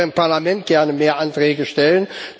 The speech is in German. Ich würde auch hier im Parlament gerne mehr Anträge stellen.